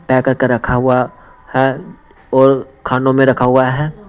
Pack करके रखा हुआ हैऔर खानों में रखा हुआ है।